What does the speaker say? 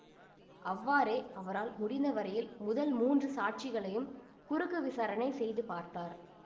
அவ்வாறே அவரால் முடிந்த வரையில் முதல் மூன்று சாட்சிகளையும் குறுக்கு விசாரணை செய்து பார்த்தார்